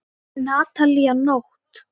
Natalía Nótt.